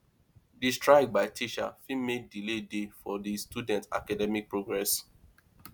di strike by teacher fit make delay dey for di student academic progress